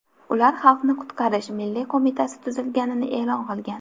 Ular Xalqni qutqarish milliy qo‘mitasi tuzilganini e’lon qilgan.